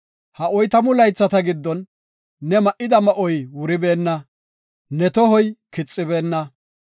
Ha oytamu laythata giddon ne ma7ida ma7oy wuribeenna; ne tohoy kixibeenna.